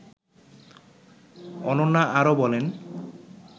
অনন্যা আরও বলেন